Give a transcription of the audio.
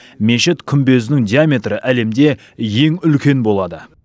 мешіт күмбезінің диаметрі әлемде ең үлкен болады